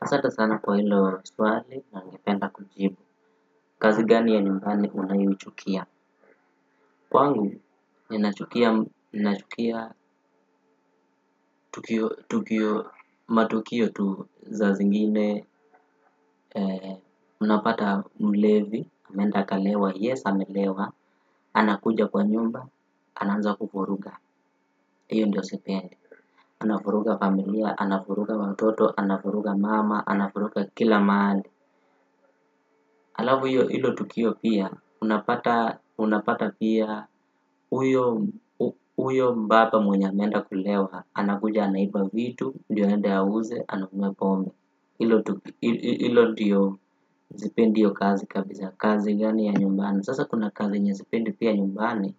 Asante sana kwa hilo swali na ningependa kujibu. Kazi gani ya nyumbani unayoichukia? Kwangu, ninachukia tukio matukio tu saa zingine. Unapata mlevi, ameenda akalewa, yes amelewa. Anakuja kwa nyumba, anaanza kuvuruga. Hiyo ndo sipendi. Anavuruga familia, anavuruga watoto, anavuruga mama, anavuruga kila mahali. Halafu hiyo hilo tukio pia, unapata pia huyo mbaba mwenye ameenda kulewa anakuja anaiba vitu ndo aende auze anakunywa pombe hilo ndio sipendi hiyo kazi kabisa kazi gani ya nyumbani, sasa kuna kazi yenye sipendi pia nyumbani